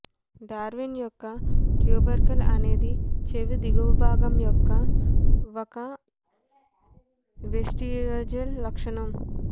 Darwin యొక్క tubercle అనేది చెవి ఎగువ భాగం యొక్క ఒక వెస్టిజియల్ లక్షణం